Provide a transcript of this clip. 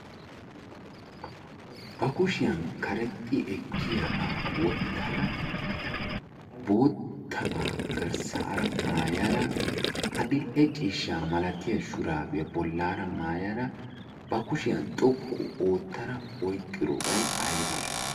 Ba kushiyan karexxi ekkiyaba wottada boottaba garssara maayada adil'ee ciishshaa malatiya shurabiya bollara maayada ba kushiyaa xoqqu oottada oyqqidobay aybee?